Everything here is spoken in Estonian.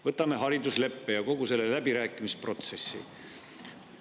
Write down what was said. Võtame haridusleppe ja kogu selle läbirääkimisprotsessi.